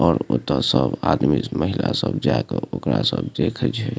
और ओता सब आदमी महिला सब जा के ओकरा सब देखई छे।